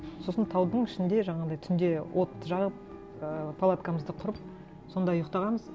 сосын таудың ішінде жаңағындай түнде от жағып ііі палаткамызды құрып сонда ұйықтағанбыз